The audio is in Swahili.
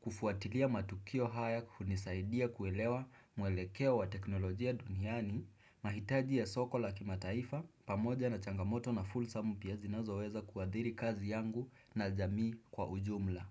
kufuatilia matukio haya hunisaidia kuelewa mwelekeo wa teknolojia duniani, mahitaji ya soko la kimataifa pamoja na changamoto na full sum pia zinazoweza kuadhiri kazi yangu na jamii kwa ujumla.